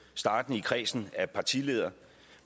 startende i kredsen af partiledere